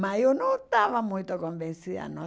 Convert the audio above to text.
Mas eu não estava muito convencida, não.